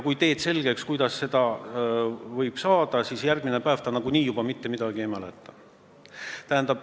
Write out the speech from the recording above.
Kui sa teed talle selgeks, kuidas seda võib saada, siis järgmine päev ta nagunii juba mitte midagi enam ei mäleta.